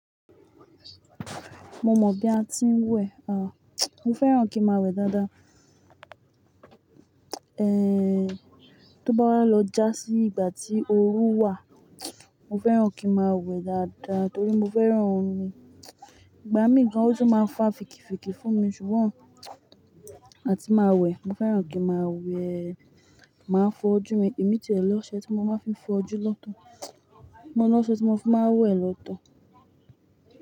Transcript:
Mo mọ bi a ti ń wẹ̀ o, mo fẹ́ràn kí n máa wẹ̀ dáadáa. Eh, tó bá wà lọ já sí ìgbà tí oru wà, mo fẹ́ràn kí n máa wẹ̀ dáadáa torí mo fẹ́ràn omi. Ìgbà mí kan ó ti máa ń fa fìkìfìkì fún mi ṣùgbọ́n, a ti máa wẹ̀. Mo fẹ́ràn kí n máa wẹ̀, máa fọ ojú mi. Èmi ti lọ ọṣẹ tí mo máa fi fọ ojú lọ́tọ̀. Mo ní ọṣẹ tí mo fi máa wẹ̀ lọ́tọ̀.